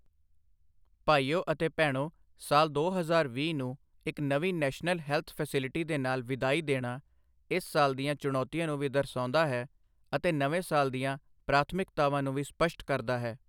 ਭਾਈਓ ਅਤੇ ਭੈਣੋਂ, ਸਾਲ ਦੋ ਹਜ਼ਾਰ ਵੀਹ ਨੂੰ ਇੱਕ ਨਵੀਂ ਨੈਸ਼ਨਲ ਹੈਲਥ ਫੈਸੀਲਿਟੀ ਦੇ ਨਾਲ ਵਿਦਾਈ ਦੇਣਾ, ਇਸ ਸਾਲ ਦੀਆਂ ਚੁਣੌਤੀਆਂ ਨੂੰ ਵੀ ਦਰਸਾਉਂਦਾ ਹੈ ਅਤੇ ਨਵੇਂ ਸਾਲ ਦੀਆਂ ਪ੍ਰਾਥਮਿਕਤਾਵਾਂ ਨੂੰ ਵੀ ਸਪਸ਼ਟ ਕਰਦਾ ਹੈ।